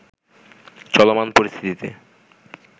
চলমান পরিস্থিতিতে